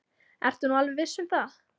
Ertu nú alveg viss um það.